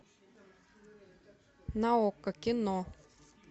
на окко кино